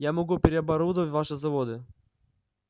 я могу переоборудовать ваши заводы